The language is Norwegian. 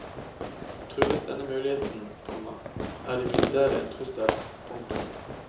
Trues denne muligheten, komma er de militære en trussel. punktum